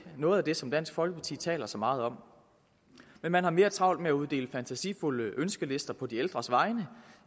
noget af det som dansk folkeparti taler så meget om men man har mere travlt med at uddele fantasifulde ønskelister på de ældres vegne